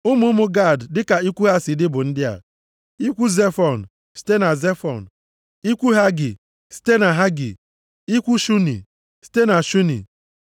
Ụmụ ụmụ Gad dịka ikwu ha si dị bụ ndị a: ikwu Zefọn, site na Zefọn, ikwu Hagi, site na Hagi, ikwu Shuni, site na Shuni,